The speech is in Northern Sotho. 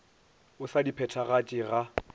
o sa di phethagatše ga